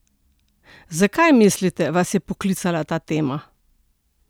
Zakaj, mislite, vas je poklicala ta tema?